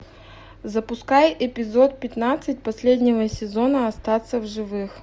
запускай эпизод пятнадцать последнего сезона остаться в живых